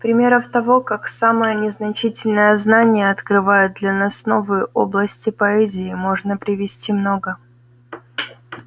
примеров того как самое незначительное знание открывает для нас новые области поэзии можно привести много